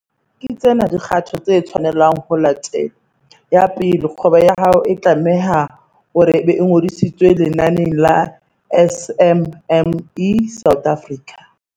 Ke tsena dikgato tse tshwanelang ho latelwa- 1. Kgwebo ya hao e tlame-ha hore e be e ngodisitswe lenaneng la SMME South Africa.